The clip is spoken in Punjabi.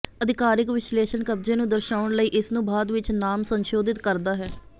ਅਧਿਕਾਰਕ ਵਿਸ਼ੇਸ਼ਣ ਕਬਜ਼ੇ ਨੂੰ ਦਰਸਾਉਣ ਲਈ ਇਸਨੂੰ ਬਾਅਦ ਵਿੱਚ ਨਾਮ ਸੰਸ਼ੋਧਿਤ ਕਰਦਾ ਹੈ